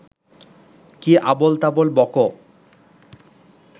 কী আবোলতাবোল বকো